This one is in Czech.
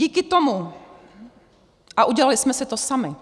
Díky tomu - a udělali jsme si to sami